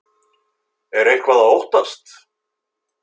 Er eitthvað að óttast?